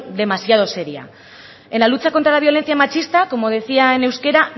demasiado seria en la lucha contra la violencia machista como decía en euskera